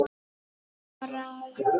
Bara Jóni.